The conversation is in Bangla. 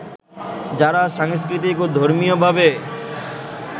যারা সাংস্কৃতিক ও ধর্মীয়ভাবে